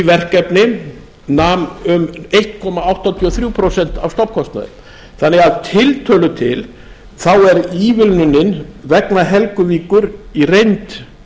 verkefni nam einn komma áttatíu og þrjú prósent af stofnkostnaði þannig að að tiltölu til er ívilnunin vegna helguvíkur í reynd